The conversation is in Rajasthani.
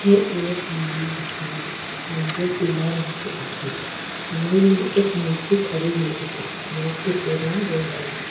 अठे एक मंदिर दिखे रो मंदिर पीला रंग की दिखे रो मंदिर में एक मूर्ति खड़ी हुइ दिखे री मूर्ति को रंग गोल्डन दिखे।